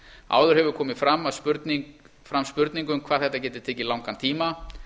áður hefur komið fram spurning um hvað þetta getur tekið langan tíma